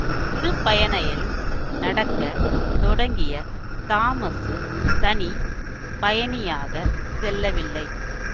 திருப்பயணயில் நடக்க தொடங்கிய தாமசு தனி பயணியாகச் செல்லவில்லை